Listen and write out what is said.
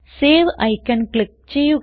save icon click ചെയ്യുക